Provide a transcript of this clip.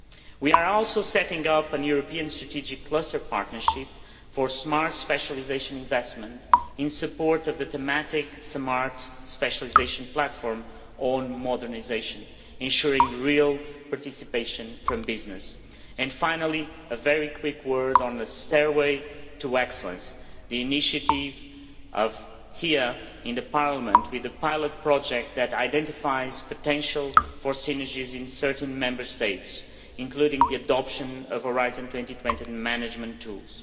We are also setting up a European strategic closer partnership for smart specialisation investment in support of the thematic Smart Specialisation Platform on modernisation ensuring real participation from business. Finally, a very quick word on the Stairway to Excellence the initiative here in Parliament with a pilot project that identifies potential for synergies in certain Member States, including the adoption of Horizon 2020 management tools.